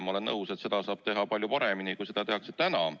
Ma olen nõus, et teavitamist saab teha palju paremini, kui seda tehakse täna.